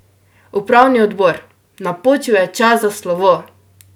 Upravni odbor, napočil je čas za slovo!